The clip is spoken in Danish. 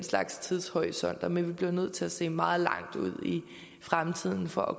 tidshorisont men vi bliver nødt til at se meget langt ud i fremtiden for at